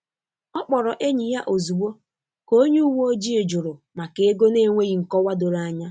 Ọ kpọrọ enyi ya ozugbo ka onye uwe ojii juru maka ego n’enweghị nkọwa doro anya.